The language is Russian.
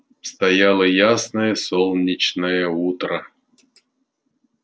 стояло ясное солнечное утро